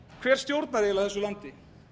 hver stjórnar eiginlega þessu landi